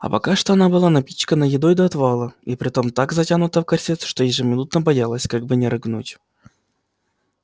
а пока что она была напичкана едой до отвала и притом так затянута в корсет что ежеминутно боялась как бы не рыгнуть